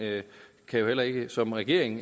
kan jo heller ikke som regering